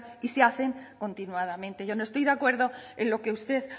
y se hacen continuadamente yo no estoy de acuerdo en lo que usted